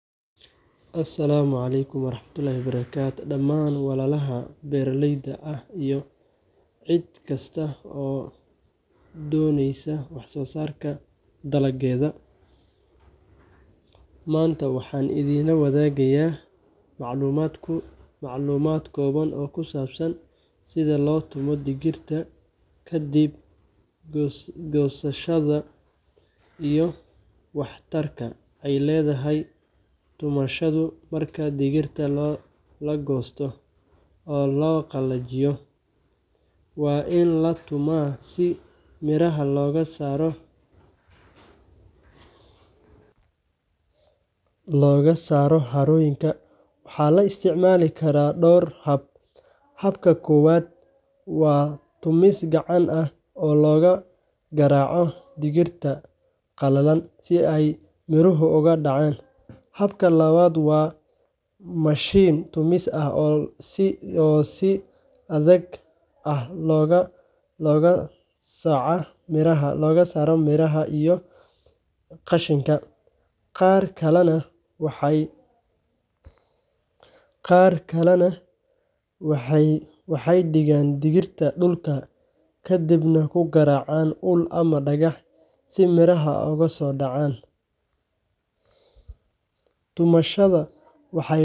Halkan waxaa ku yaal fariin cod ah oo socon karta 90 ilbiriqsi kuna saabsan habka loo tumo digirta ka Asalaamu calaykum dhamaan walaalaha beeraleyda ah iyo cid kasta oo danaynaysa wax soo saarka dalagyada. Maanta waxaan idinla wadaagayaa macluumaad kooban oo ku saabsan sida loo tumo digirta kadib goosashada iyo waxtarka ay leedahay tumashadu. Marka digirta la goosto oo la qalajiyo, waa in la tumaa si miraha looga saaro harooyinka. Waxaa la isticmaali karaa dhowr hab: Habka koowaad waa tumis gacan ah, oo lagu garaaco dhirta qalalan si ay miruhu uga dhacaan. Habka labaad waa mashiin tumis ah oo si degdeg ah u kala sooca miraha iyo qashinka. Qaar kalena waxay dhigaan dhirta dhulka kadibna ku garaacaan ul ama dhagax si miraha uga soo dhacaaan. Tumashada waxa ay leedahay faa’iidooyin badan. Waxay sahlaysaa in miraha si fudud loo kala saaro loona nadiifiyo. Waxa kale oo ay ka hortagtaa in cayayaan ama cudurro ku faaftaan digirta. Markaad si fiican u tumato, waxaad heli doontaa digir nadiif ah, u diyaarsan in la iibiyo ama la keydiyo muddo dheer. Ugu dambayn, tumasho wanaagsan waxay